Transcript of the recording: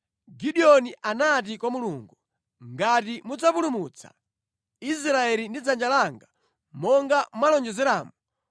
Gideoni anati kwa Mulungu, “Ngati mudzapulumutsa Israeli ndi dzanja langa monga mwalonjezeramu,